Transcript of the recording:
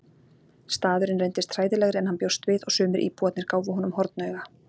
Staðurinn reyndist hræðilegri en hann bjóst við og sumir íbúarnir gáfu honum hornauga.